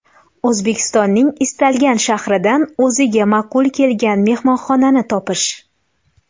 O‘zbekistonning istalgan shahridan o‘ziga ma’qul kelgan mehmonxonani topish.